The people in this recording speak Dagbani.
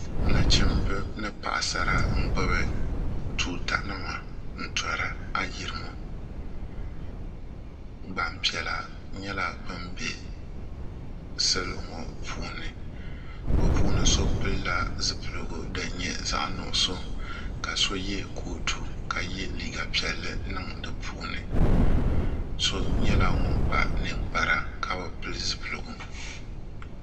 nachimbi ni paɣasara n gbubi tuuta nima n tori ayirimo gbanpiɛla nyɛla bin bɛ salo ŋo puuni bi puuni so pilila zipiligu din nyɛ zaɣ nuɣso ka so yɛ kootu ka yɛ liiga piɛlli niŋ di puuni so nyɛla ŋun kpa ninkpara ka bi pili zipiligu